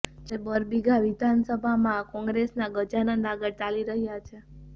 જ્યારે બરબીઘા વિધાનસભામાં કોંગ્રેસના ગજાનંદ આગળ ચાલી રહ્યા છે